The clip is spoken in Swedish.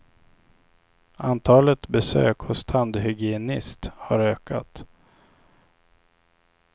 Antalet besök hos tandhygienist har ökat.